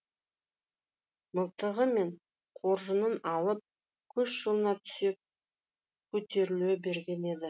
мылтығы мен қоржынын алып көш жолына түсе көтеріле берген еді